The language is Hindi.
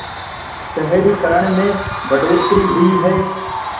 शहरीकरण में बढ़ोतरी हुई है